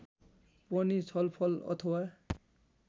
पनि छलफल अथवा